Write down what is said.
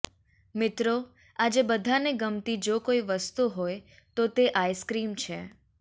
મિત્રો આજે બધાને ગમતી જો કોઈ વસ્તુ હોય તો તે આઇસ્ક્રીમ છે